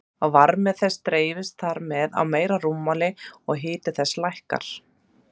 Varmi þess dreifist þar með á meira rúmmál og hiti þess lækkar.